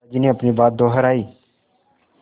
दादाजी ने अपनी बात दोहराई